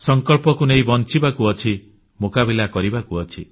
ସଂକଳ୍ପକୁ ନେଇ ବଞ୍ଚିବାକୁ ପଡିବ ମୁକାବିଲା କରିବାକୁ ପଡିବ